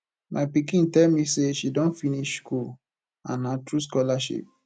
my pikin tell me say she don finish school and na through scholarship